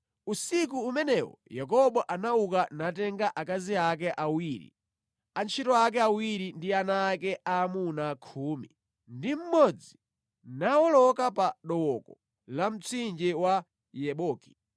Usiku umenewo Yakobo anauka natenga akazi ake awiri, antchito ake awiri ndi ana ake aamuna khumi ndi mmodzi nawoloka pa dooko la mtsinje wa Yaboki.